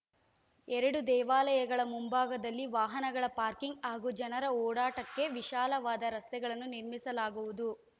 ಎರಡೂ ದೇವಾಲಯಗಳ ಮುಂಭಾಗದಲ್ಲಿ ವಾಹನಗಳ ಪಾರ್ಕಿಂಗ್‌ ಹಾಗೂ ಜನರ ಓಡಾಟಕ್ಕೆ ವಿಶಾಲವಾದ ರಸ್ತೆಗಳನ್ನು ನಿರ್ಮಿಸಲಾಗುವುದು